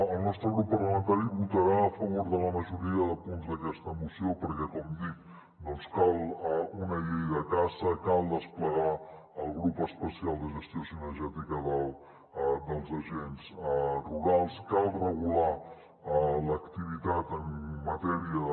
el nostre grup parlamentari votarà a favor de la majoria de punts d’aquesta moció perquè com dic cal una llei de caça cal desplegar el grup espe·cial de gestió cinegètica dels agents rurals cal regular l’activitat en matèria de